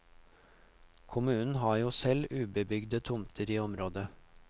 Kommunen har jo selv ubebyggede tomter i området.